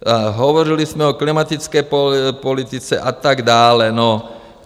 Hovořili jsme o klimatické politice, a tak dále.